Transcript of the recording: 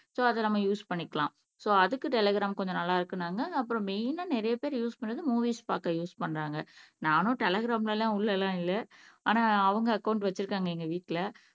so அதை நம்ம use பண்ணிக்கலாம் சோ அதுக்கு டெலிகிராம் கொஞ்சம் நல்லா இருக்குன்னாங்க அப்புறம் மெய்னா நிறைய பேர் யூஸ் பண்ணது மூவிஸ் பார்க்க யூஸ் பண்றாங்க நானும் டெலிகிராம்ல எல்லாம் உள்ள எல்லாம் இல்லை ஆனா அவங்க அக்கௌன்ட் வச்சிருக்காங்க எங்க வீட்டுல